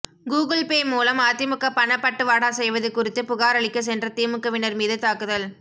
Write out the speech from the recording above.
Google Pay மூலம் அதிமுக பணப்பட்டுவாடா செய்வது குறித்து புகாரளிக்க சென்ற திமுகவினர் மீது தாக்குதல்